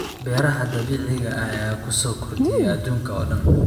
Beeraha dabiiciga ah ayaa ku sii kordhaya adduunka oo dhan.